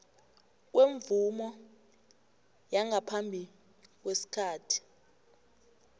kwemvumo yangaphambi kwesikhathi